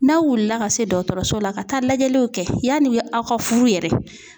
N'aw wulila ka se dɔgɔtɔrɔso la ka taa lajɛliw kɛ yanni aw ka furu yɛrɛ.